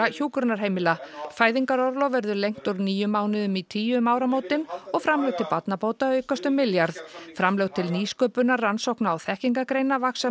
hjúkrunarheimila fæðingarorlof verður lengt úr níu mánuðum í tíu um áramótin og framlög til barnabóta aukast um milljarð framlög til nýsköpunar rannsókna og þekkingargreina vaxa